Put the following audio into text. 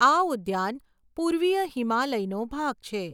આ ઉદ્યાન પૂર્વીય હિમાલયનો ભાગ છે.